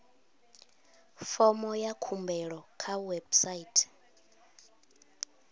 fomo ya khumbelo kha website